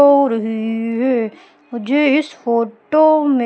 हो रही है मुझे इस फोटो में--